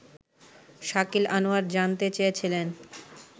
শাকিল আনোয়ার জানতে চেয়েছিলেন